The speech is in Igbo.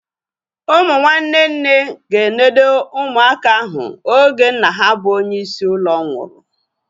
Ụmụ nwanne nne ga-enode ụmụaka ahu oge nna ha bụ onye isi ụlọ nwụrụ